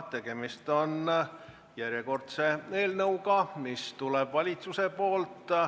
Tegemist on järjekordse eelnõuga, mis tuleb valitsuselt.